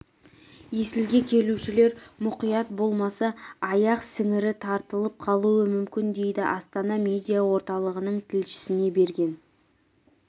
есілге келушілер мұқият болмаса аяқ сіңірі тартылып қалуы мүмкін дейді астана медиа орталығының тілшісіне берген